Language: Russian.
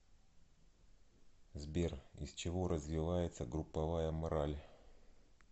сбер из чего развивается групповая мораль